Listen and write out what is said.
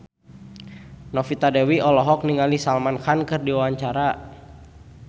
Novita Dewi olohok ningali Salman Khan keur diwawancara